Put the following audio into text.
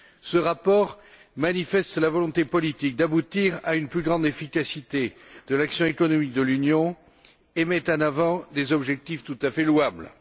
Ce rapport manifeste la volonté politique d'aboutir à une plus grande efficacité de l'action économique de l'Union et met en avant des objectifs tout à fait louables.